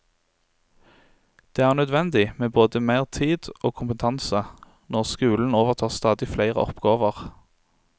Det er nødvendig med både meir tid og kompetanse når skulen overtar stadig fleire oppgåver.